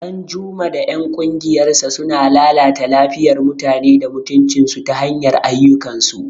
Danjuma da ‘yan kungiyarsa suna lalata lafiyar mutane da mutuncinsu ta hanyar ayyukansu.